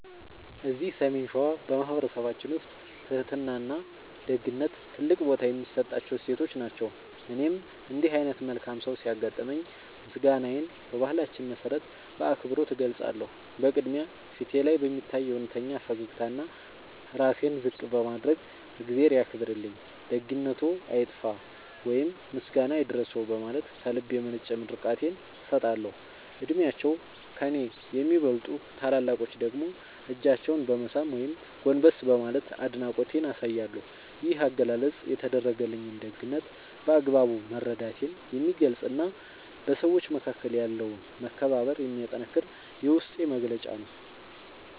እዚህ ሰሜን ሸዋ በማኅበረሰባችን ውስጥ ትሕትናና ደግነት ትልቅ ቦታ የሚሰጣቸው እሴቶች ናቸው። እኔም እንዲህ ዓይነት መልካም ሰው ሲያጋጥመኝ ምስጋናዬን በባህላችን መሠረት በአክብሮት እገልጻለሁ። በቅድሚያ፣ ፊቴ ላይ በሚታይ እውነተኛ ፈገግታና ራሴን ዝቅ በማድረግ "እግዚአብሔር ያክብርልኝ፣ ደግነትዎ አይጥፋ" ወይም "ምስጋና ይድረስዎ" በማለት ከልብ የመነጨ ምርቃቴን እሰጣለሁ። ዕድሜያቸው ከእኔ ለሚበልጡ ታላላቆች ደግሞ እጃቸውን በመሳም ወይም ጎንበስ በማለት አድናቆቴን አሳያለሁ። ይህ አገላለጽ የተደረገልኝን ደግነት በአግባቡ መረዳቴን የሚገልጽና በሰዎች መካከል ያለውን መከባበር የሚያጠነክር የውስጤ መግለጫ ነው።